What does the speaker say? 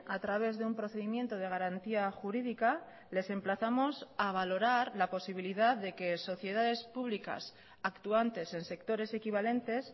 a través de un procedimiento de garantía jurídica les emplazamos a valorar la posibilidad de que sociedades públicas actuantes en sectores equivalentes